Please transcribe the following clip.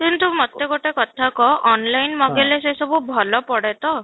କିନ୍ତୁ ମୋତେ ଗୋଟେ କଥା କହ online ମଗେଇଲେ ସେ ସବୁ ଭଲ ପଡେ ତ?